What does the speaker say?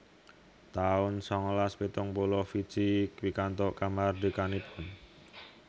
taun sangalas pitung puluh Fiji pikantuk kamardikanipun